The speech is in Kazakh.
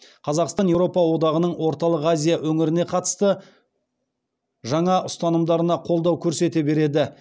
қазақстан еуропа одағының орталық азия өңіріне қатысты жаңа ұстанымдарына қолдау көрсете береді